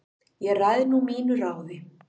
Ég ræð nú mínu ráði